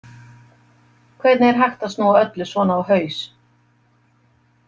Hvernig er hægt að snúa öllu svona á haus?